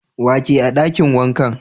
Wa ke a dakin wankan?